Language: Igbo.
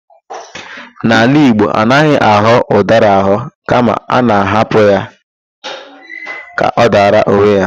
N'ala Igbo, anaghị aghọ ụdara aghọ kama a na-ahapụ ya ka ọ dara onwe ya.